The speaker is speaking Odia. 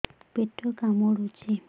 ପେଟ କାମୁଡୁଛି